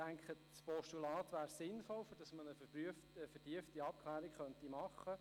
Ich denke, ein Postulat wäre sinnvoll, um eine vertiefte Abklärung zu ermöglichen.